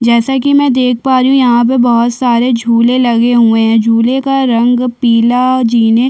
जेसा की मे देख पा रही हूँ यहाँ पर बहुत सारे झूले लगे हुए है झूले का रंग पीला जीने --